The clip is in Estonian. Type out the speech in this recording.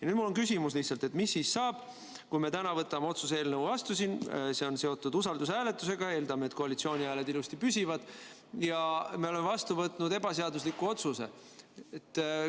Nüüd mul on lihtsalt küsimus: mis siis saab, kui me täna võtame selle otsuse eelnõu vastu, see on seotud usaldushääletusega – eeldame, et koalitsiooni hääled ilusti püsivad –, ja me oleme vastu võtnud ebaseadusliku otsuse?